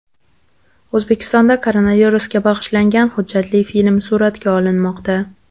O‘zbekistonda koronavirusga bag‘ishlangan hujjatli film suratga olinmoqda .